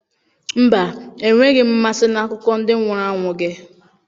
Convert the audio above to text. Mba, enweghị m mmasị na akụkọ ndị nwụrụ anwụ gị.